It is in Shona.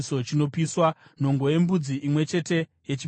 nhongo yembudzi imwe chete yechipiriso chechivi;